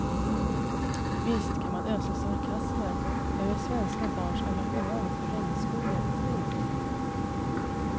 Visst kan man ösa sarkasmer över svenska barns engagemang för regnskogen. punkt